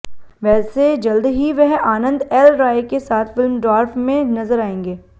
वैसे जल्द ही वह आनंद एल राय के साथ फिल्म ड्वार्फ में नजर आएंगे